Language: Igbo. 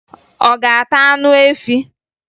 Ọ ga-ata anụ efi?